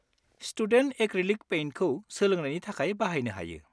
Student acrylic पेइन्टखौ सोलोंनायनि थाखाय बाहायनो हायो।